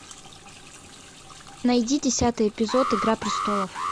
найди десятый эпизод игра престолов